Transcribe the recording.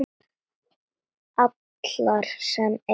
Allar sem ein.